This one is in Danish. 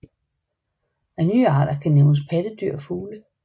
Af nye arter kan nævnes pattedyr og fugle